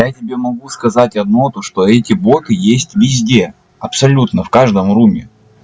я тебе могу сказать одно то что эти боты есть везде абсолютно в каждом руми